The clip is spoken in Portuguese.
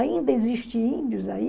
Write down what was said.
Ainda existem índios aí?